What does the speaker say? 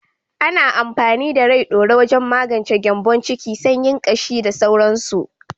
Ana amfani da Rai ɗaure wajen magance gyanbon ciki, sanyin ƙashi da sauransu.